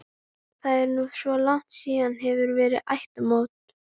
Það er nú svo langt síðan hefur verið ættarmót.